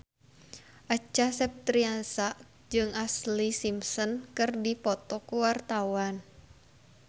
Acha Septriasa jeung Ashlee Simpson keur dipoto ku wartawan